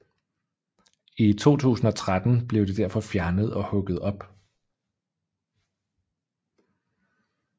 I 2013 blev det derfor fjernet og hugget op